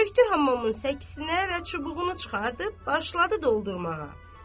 Çökdü hamamın səkinə və çubuğunu çıxartdı, başladı doldurmağa.